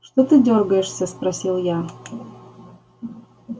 что ты дёргаешься спросил я